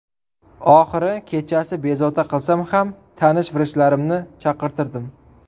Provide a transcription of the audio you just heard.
Oxiri kechasi bezovta qilsam ham tanish vrachlarimni chaqirtirdim.